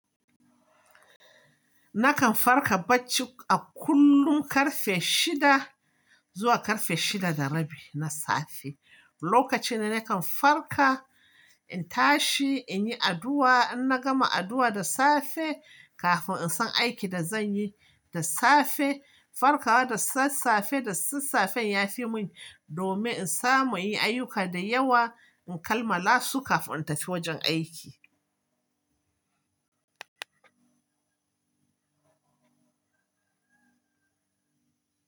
Nakan farka bacci a kullum ƙarfe shida zuwa ƙarfe shida da rabi na safe. Lokaci ne nakan farka, in tashi, in yi addu'a, in na gama addu'a da safe kafin in san aikin da zan yi da safe. Farkawa da sassafe, da sassafe ya fi mun, domin in samu yin ayyuka da yawa, in kammala su kafin in tafi wajen aiki.